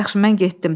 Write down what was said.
Yaxşı, mən getdim.